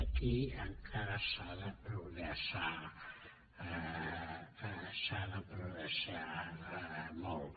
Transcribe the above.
aquí encara s’ha de progressar s’ha de progressar molt